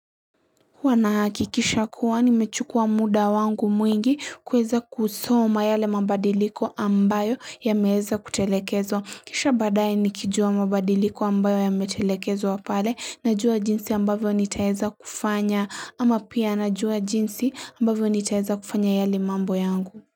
Wanahaki kisha kuwa ni mechukua muda wangu mwingi kweza kusoma yale mabadiliko ambayo ya meheza kutelekezo. Kisha badai nikijua mabadiliko ambayo ya mechelekezo wapale na jua jinsi ambayo nitaheza kufanya ama pia na jua jinsi ambayo nitaheza kufanya yali mambo yangu.